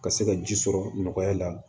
Ka se ka ji sɔrɔ nɔgɔya la